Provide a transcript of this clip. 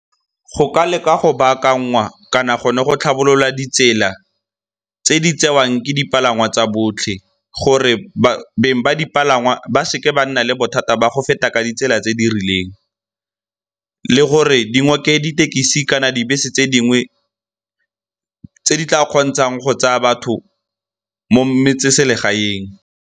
Go ka leka go bakanngwa kana gone go tlhabolola ditsela tse di tsewang ke dipalangwa tsa botlhe gore beng ba dipalangwa ba seke ba nna le bothata ba go feta ka ditsela tse di rileng. Le gore dingoke ditekisi kana dibese tse dingwe tse di tla kgontshang go tsaya batho mo metseselegaeng.